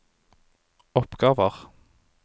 oppgaver